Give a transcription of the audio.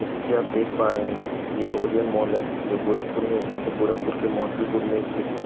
जैसे कि आप देख पा रहे हैं ये ओरियन मॉल है जो गोरखपुर में स्थित है गोरखपुर के मोहद्दीपुर में स्थित है।